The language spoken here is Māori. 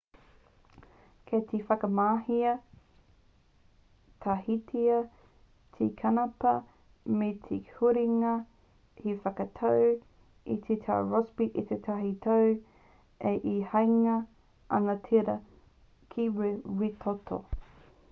kei te whakamahia tahitia te kanapā me te huringa hei whakatau i te tau rossby a tētahi tau ā e hāngai ana tērā ki te rere wētoto